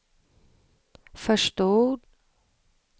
förstod